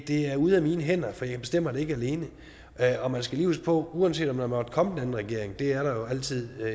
er ude af mine hænder for jeg bestemmer det ikke alene og man skal lige huske på at uanset om der måtte komme en anden regering det er der jo altid